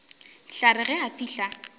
tla re ge a fihla